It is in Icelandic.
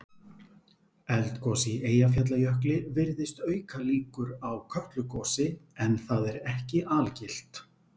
Eldgos í Eyjafjallajökli virðist auka líkur á Kötlugosi en það er ekki algilt.